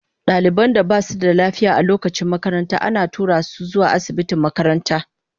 Daliban da ba su da lafiya a lokacin makaranta ana tura su zuwa asibitin makaranta.